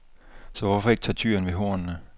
Så hvorfor ikke tage tyren ved hornene?